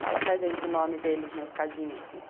Fala para gente o nome deles na escadinha, assim.